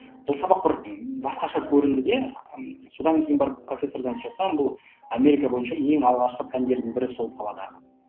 бұл сабақ бір басқаша көрінді де содан кейін барып профессордан сұрасам бұл америка бойынша ең алғашқы пәндердің бірі сол саладағы